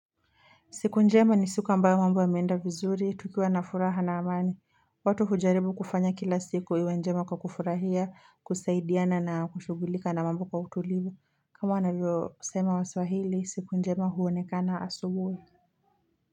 Siku njema nisuka ambayo mambo yameenda vizuri tukiwa na furaha na amani, watu hujaribu kufanya kila siku iwe njema kwa kufurahia, kusaidiana na kushughulika na mambo kwa utulivu, kama wanavyosema waswahili, siku njema huonekana asubuhi.